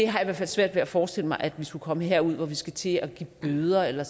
har i hvert fald svært ved at forestille mig at vi skulle komme derud hvor vi skal til at give bøder eller